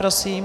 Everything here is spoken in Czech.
Prosím.